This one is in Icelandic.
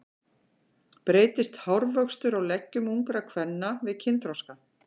Breytist hárvöxtur á leggjum ungra kvenna við kynþroska?